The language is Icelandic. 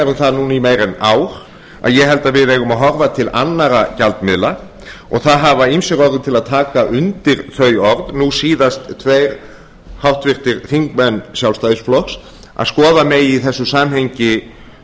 um það núna í meira en ár að ég held að við eigum að horfa til annarra gjaldmiðla og það hafa ýmsir orðið til að taka undir þau orð nú síðast tveir háttvirtir þingmenn sjálfstæðisflokks að skoða megi í þessu samhengi